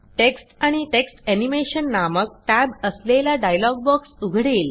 text आणि text animation नामक tab असलेला डायलॉग बॉक्स उघडेल